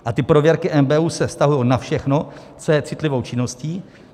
A ty prověrky NBÚ se vztahují na všechno, co je citlivou činností.